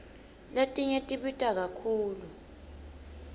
letinye tibita kakhulu